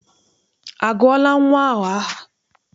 A gụọla nnwa ahụ aha?